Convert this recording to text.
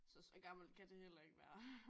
Så så gammel kan det heller ikke være